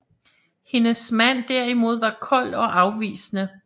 Hendes mand derimod var kold og afvisende